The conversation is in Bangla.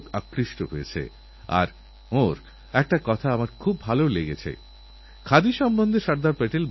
আমিও ১২৫ কোটি দেশবাসীর মত এক দেশবাসী এক নাগরিক হিসাবে আমাদের এই সবখেলোয়োড়দের উৎসাহ বাড়ানোর জন্য আপনাদের সঙ্গে থাকব